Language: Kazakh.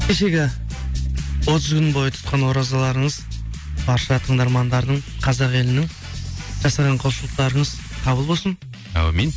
кешегі отыз күн бойы тұтқан оразалырыңыз барша тыңдармандардың қазақ елінің жасаған құлшылықтарыңыз қабыл болсын әумин